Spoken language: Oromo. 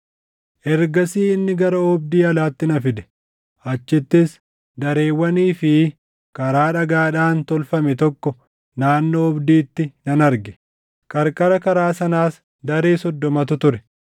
Ergasii inni gara oobdii alaatti na fide. Achittis dareewwanii fi karaa dhagaadhaan tolfame tokko naannoo oobdiitti nan arge; qarqara karaa sanaas daree soddomatu ture.